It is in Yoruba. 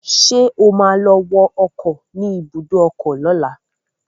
Ṣé o ma lọ wọ ọkọ̀ ni ibùdó ọkọ lọ́la?